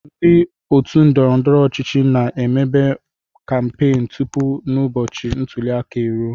Ndị otu ndọrọndọrọ ọchịchị na-emebe kampen tupu n'ụbọchị ntulịaka e ruo.